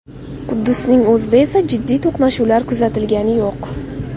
Quddusning o‘zida esa jiddiy to‘qnashuvlar kuzatilgani yo‘q.